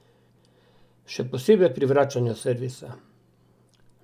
Še posebej pri vračanju servisa.